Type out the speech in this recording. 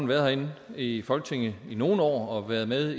været herinde i folketinget i nogle år og været med